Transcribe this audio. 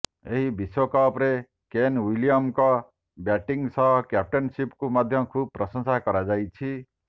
ଏହି ବିଶ୍ୱକପ୍ ରେ କେନ୍ ୱିଲିୟମସନ୍ ଙ୍କ ବ୍ୟାଟିଙ୍ଗ୍ ସହ କ୍ୟାପଟେନ୍ସିକୁ ମଧ୍ୟ ଖୁବ୍ ପ୍ରଶଂସା କରାଯାଇଛି